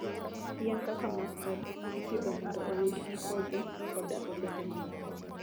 Yien kaka mustard ipidho mondo oyudgi kodhi koda olembe mamoko.